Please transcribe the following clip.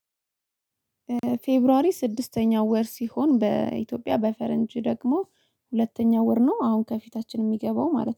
ፌብሩዋሪ ስድስተኛው ወር ሲሆን በኢትዮጵያ በፈረንጅ ደግሞ ሁለተኛው ወር ነው። አሁን ከፊታችን የሚገባው ማለት ነው